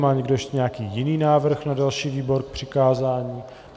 Má někdo ještě nějaký jiný návrh na další výbor k přikázání?